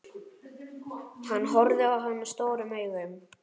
Hann horfði á hana stórum augum.